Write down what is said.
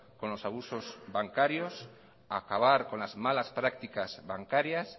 con los abusos bancarios acabar con las malas prácticas bancarias